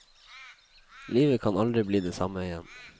Livet kan aldri bli det samme igjen.